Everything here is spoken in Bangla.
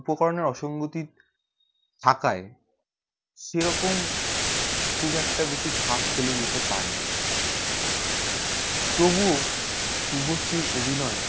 উপকরণে অসঙ্গতি থাকায় সেই রকম খুব একটা ছাপ ফেলে যেতে পারেনি তবু শুভশ্রীর অভিনয়